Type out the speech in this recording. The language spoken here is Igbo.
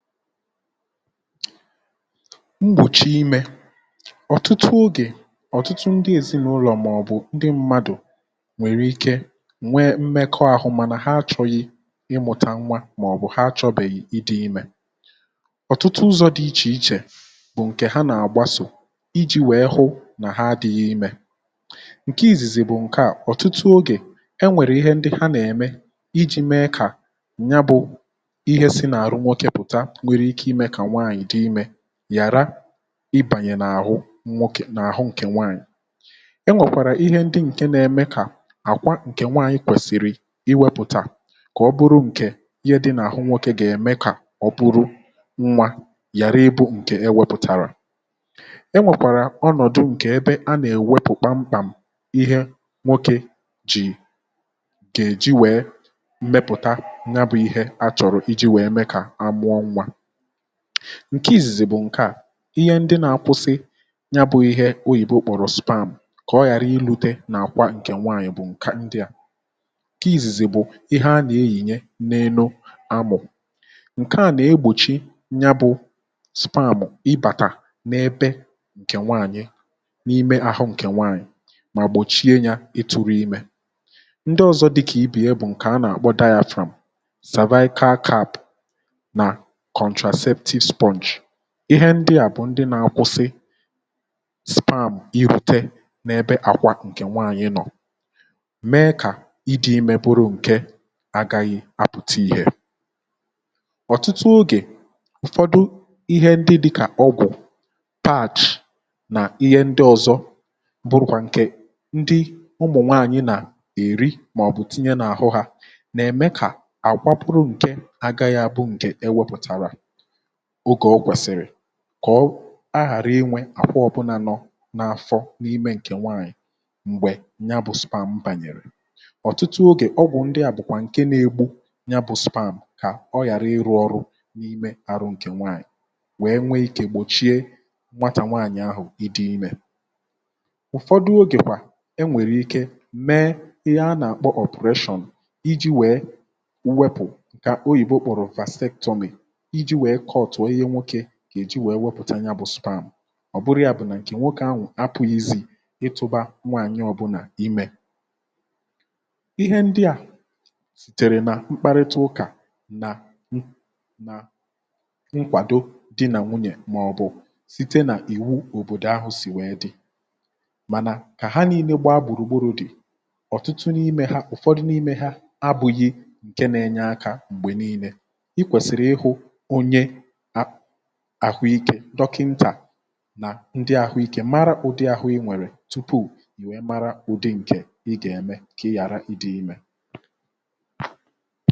Mgbòchi imė: ọ̀tụtụ ogè, ọ̀tụtụ ndị èzinàụlọ̀ mà ọ̀bụ̀ ndị mmadụ,̀ nwèrè ike nwèe mmekọ àhụ mànà ha achọ̇yị̇ ịmụ̇tà nwa mà ọ̀bụ̀ ha chọ̇bèghì ịdị̇ imė. ọ̀tụtụ ụzọ̇ dị ichè ichè bụ̀ ǹkè ha nà-àgbasò, iji̇ wèe hụ nà ha adị̇ghi imė. Nkè ìzìzì bụ̀ ǹkè a; ọ̀tụtụ ogè, e nwèrè ihe ndị ha nà-ème, iji̇ mee kà nya bụ̇ ihe si nà àrụ nwọkè pụ̀ta nwèrè ike ịme kà nwaànyị di ịme nyara ibànyè n’àhụ nwọkè n’àhụ ǹkè nwaanyị.̀ E nwèkwàrà ihe ndị nkè nà-eme kà àkwa ǹkè nwaanyị̇ kwèsìrì iwėpùtà, kà ọbụrụ ǹkè ihe dị n’àhụ nwokė gà-ème kà ọ bụrụ nwȧ ghàra ịbụ̇ ǹkè e wepụ̀tàrà. E nwèkwàrà ọnọ̀dụ ǹkè ebe a nà-èwepùkpa mkpàm̀ ihe nwokė jì, gà-èji wèe mmepụ̀ta ya bụ̇ ihe a chọ̀rọ̀ iji̇ wèe mee kà amụọ nwa. Nkè izìzì bụ̀ ǹke à, ihe ndị na-akwụsị ya bụ̇ ihe, oyìbo kpòrò sperm kà ọ ghàra ilute nà àkwa ǹkè nwaanyị̀ bụ̀ ǹkà ndị à; Nkè izìzì bụ, ihe anà-eyìnyè n’enu amụ,̀ ǹke à nà-egbòchi nya bụ̇ sperm ibàtà n’ebe ǹkè nwaanyị, n’ime àhụ ǹkè nwaanyị,̀ mà gbòchie yȧ ịtụ̇rụ̇ imė. Ndị ọzọ̇ dịkà ibè ya bụ̀ ǹkè anà-àkpọ diȧafrȧm, savaiikaa cap na contraceptive sponge. Ihe ndị à bụ̀ ndị nà-akwụsị sperm irute n’ebe àkwà ǹkè nwaànyị nọ,̀ mee kà ịdị̇ imė bụrụ ǹke agaghi apụ̀ta ihė. ọ̀tụtụ ogè, ụ̀fọdụ ihe ndị dịkà ọgwụ,̀ patch nà ihe ndị ọ̀zọ bụrụ̇ kwà ǹkè ndị ụmụ̀ nwaànyị nà èri, mà ọ̀bụ̀ tinye nà-àhụ hȧ, nà-ème kà àkwa bụrụ ǹkè agaghị àbụ ǹkè e wepụ̀tàrà ogė o kwèsìri kọ̀ a ghàra inwė àkwọ ọ bụ̇ nà nọ n’afọ̇ n’imė ǹkè nwaànyị̀ m̀gbè nya bụ̇ sperm bànyèrè. ọ̀tụtụ ogè, ọgwụ̀ ndị à bụ̀kwà ǹke na-egbu nya bụ̇ sperm kà ọ ghàra ịrụ̇ ọrụ̇ n’ime arụ̇ ǹkè nwaànyị̀ wèe nwee ikė gbòchie nwatà nwaànyị̀ ahụ̀ ịdị imė. ụ̀fọdụ ogè kwà, e nwèrè ike mee ihe a nà-àkpọ operation iji̇ wee wepu kà oyìbo kpòrò Vastetomi ịjì nwèè cut ọ Ihe nwoke gà-èji wèe nwepụ̀tà nya bụ̀ sperm. ọ̀ bụrụ ya bụ̀ nà ǹkè nwokė ahụ̀ apụ̇ghị̇ izì ịtụ̇ba nwaànyị o bùla ịme. Ihe ndị à sìtèrè nà mkparịta ụkà, nà nà nkwàdo di nà nwunyè, mà ọ̀bụ̀ site nà iwu òbòdò ahụ̇ sì wee dì. Mànà, kà ha nà-inee gbaa gbùrùgburù dì. ọ̀tụtụ n’ime ha, ụ̀fọdụ n’ime ha abụ̇ghị̇ ǹke nȧ-enye akȧ m̀gbè niine. I kwèsìri ịhu onyė a ahụ ikė, dọkịntà nà ndị àhụikė mara ụdị àhụ ị nwèrè tupuù nwèe mara ụdị ǹkè ị gà-ème ka ị ghàra ịdị imė.